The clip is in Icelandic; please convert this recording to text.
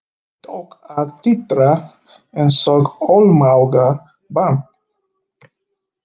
Tók að titra einsog ómálga barn.